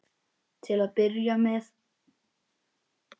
Til að byrja með.